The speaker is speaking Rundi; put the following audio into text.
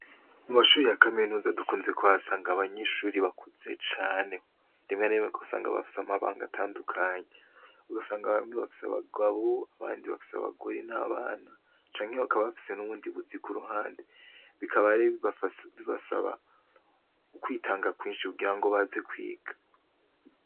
Mu mashure ya Kamenuza ndukunze kuhasanga abanyeshure bakuze cane, rimwe na rimwe usanga bafise amabanga atandukanye, usanga bamwe bafise abagabo, abandi bafise abagore n'abana canke bakaba bafise n'ubundi buzi ku ruhande Bikaba rero bibasaba kwitanga kwinshi kugira ngo baze kwiga.